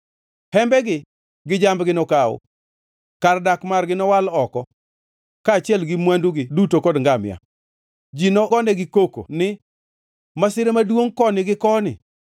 Hembegi gi jambgi nokaw; kar dak margi nowal oko, kaachiel gi mwandugi duto kod ngamia. Ji nogonegi koko ni, ‘Masira maduongʼ koni gi koni!’ ”